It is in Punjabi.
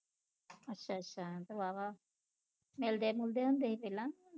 ਅੱਛਾ ਅੱਛਾ ਤੇ ਵਾਹਵਾ ਮਿਲਦੇ ਮੁਲਦੇ ਹੁੰਦੇ ਸੀ ਪਹਿਲਾ